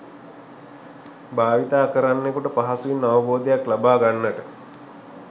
භාවිතා කරන්නෙකුට පහසුවෙන් අවබෝධයක් ලබා ගන්නට